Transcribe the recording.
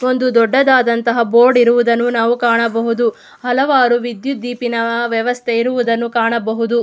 ಒಂದು ದೊಡ್ಡದಾದಂತ ಬೋರ್ಡ್ ಇರುವುದನ್ನು ನಾವು ಕಾಣಬಹುದು ಹಲವಾರು ವಿದ್ಯುತ್ ದೀಪಿನ ವ್ಯವಸ್ಥೆ ಇರುವುದನ್ನ ಕಾಣಬಹುದು.